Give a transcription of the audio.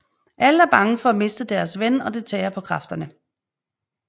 Alle er bange for at miste deres ven og det tærer på kræfterne